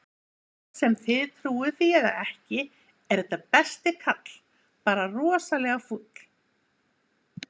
Hvort sem þið trúið því eða ekki, er þetta besti kall, bara rosalega fúll.